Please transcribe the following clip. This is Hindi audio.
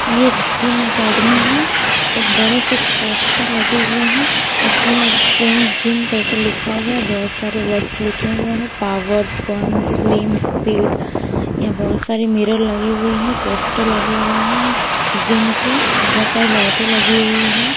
यह एक जिम अकेडमी है एक बड़े से पोस्टर लगे हुए हैं उसमें फ्रेंड जीम करके लिखा हुआ है बहुत सारे वर्ड्स लिखे हुए हैं पावर फन स्लिम स्पीड यहां बहुत सारी मिरर लगी हुई हैं पोस्टर लगे हुए हैं जिम की बहुत सारी लाइटें लगी हुई हैं।